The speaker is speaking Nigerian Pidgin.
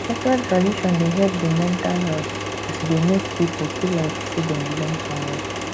cultural tradition de help di mental health as e dey make pipo feel like sey dem belong somewhere